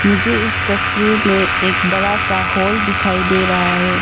मुझे इस तस्वीर में एक बड़ा सा हॉल दिखाई दे रहा है।